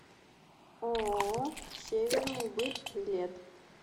ооо северныйбыт билет